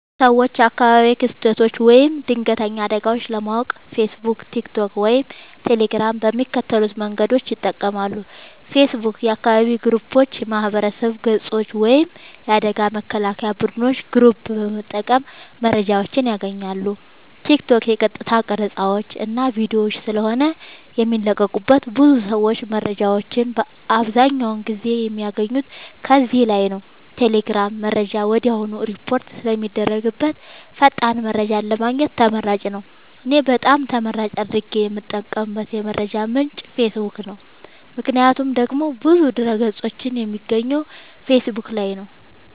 ሰወች አካባቢያዊ ክስተቶች ወይም ድንገተኛ አደጋወች ለማወቅ ፌሰቡክ ቲክቶክ ወይም ቴሌግራም በሚከተሉት መንገዶች ይጠቀማሉ ፌሰቡክ :- የአካባቢ ግሩፖች የማህበረሰብ ገፆች ወይም የአደጋ መከላከያ ቡድኖች ግሩፕ በመጠቀም መረጃወችን ያገኛሉ ቲክቶክ :- የቀጥታ ቀረፃወች እና ቪዲዮወች ስለሆነ የሚለቀቁበት ብዙ ሰወች መረጃወችን አብዛኛውን ጊዜ የሚያገኙት ከዚህ ላይ ነዉ ቴሌግራም :-መረጃ ወድያውኑ ሪፖርት ስለሚደረግበት ፈጣን መረጃን ለማግኘት ተመራጭ ነዉ። እኔ በጣም ተመራጭ አድርጌ የምጠቀምበት የመረጃ ምንጭ ፌሰቡክ ነዉ ምክንያቱም ደግሞ ብዙ ድህረ ገፆችን የማገኘው ፌሰቡክ ላይ ነዉ